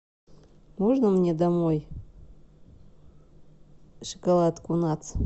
можно мне домой шоколадку натс